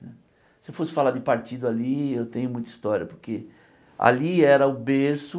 Se eu fosse falar de partido ali, eu tenho muita história, porque ali era o berço